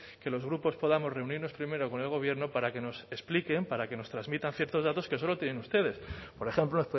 que los grupos podamos reunirnos primero con el gobierno para que nos expliquen para que nos transmitan ciertos datos que solo tienen ustedes por ejemplo